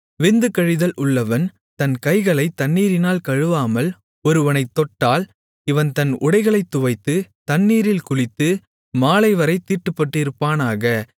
விந்து கழிதல் உள்ளவன் தன் கைகளைத் தண்ணீரினால் கழுவாமல் ஒருவனைத் தொட்டால் இவன் தன் உடைகளைத் துவைத்து தண்ணீரில் குளித்து மாலைவரைத் தீட்டுப்பட்டிருப்பானாக